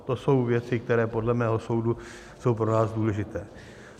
To jsou věci, které podle mého soudu jsou pro nás důležité.